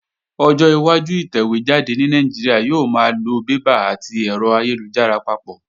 Ọjọ́ iwájú ìtẹ̀wé jáde ní Nàìjíríà yóò máa lo bébà àti ẹ̀rọ ayélujára papọ̀